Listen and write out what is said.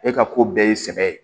E ka ko bɛɛ ye sɛbɛ ye